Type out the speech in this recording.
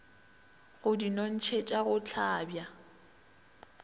go di nontšhetša go hlabja